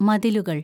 മതിലുകള്‍